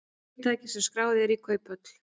Fyrirtæki sem skráð eru í kauphöll